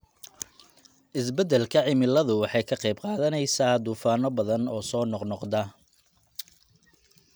Isbeddelka cimiladu waxay ka qayb qaadanaysaa duufaanno badan oo soo noqnoqda.